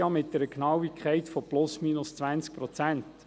Eine grössere Genauigkeit ist zurzeit nicht möglich.